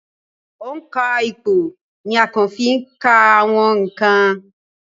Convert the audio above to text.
òǹkà ìpò ni a ń fí ka àwọn ǹkan